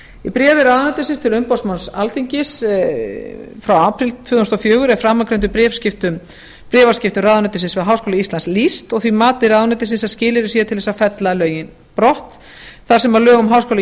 í bréfi ráðuneytisins til umboðsmanns alþingis frá apríl tvö þúsund og fjögur er framangreindum bréfaskiptum ráðuneytisins við háskóla íslands lýst og því mati ráðuneytisins að skilyrði séu til þess að fella lögin brott þar sem lög um háskóla